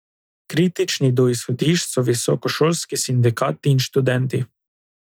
Kritični do izhodišč so visokošolski sindikati in študenti.